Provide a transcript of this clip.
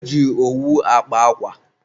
e ji owu akpa akwa.